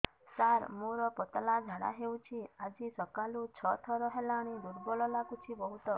ସାର ମୋର ପତଳା ଝାଡା ହେଉଛି ଆଜି ସକାଳୁ ଛଅ ଥର ହେଲାଣି ଦୁର୍ବଳ ଲାଗୁଚି ବହୁତ